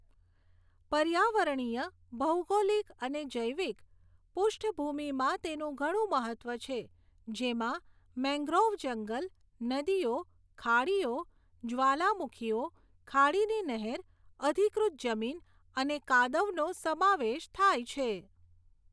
પર્યાવરણીય, ભૌગોલિક અને જૈવિક પુષ્ઠ્ભૂમીમાં તેનું ઘણું મહત્ત્વ છે, જેમાં મેંગ્રોવ જંગલ, નદીઓ, ખાડીઓ, જ્વાલામુખીઓ, ખાડીની નહેર, અધિકૃત જમીન અને કાદવનો સમાવેશ થાય છે.